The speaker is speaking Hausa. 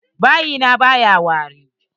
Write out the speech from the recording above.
Bayi na baya wari.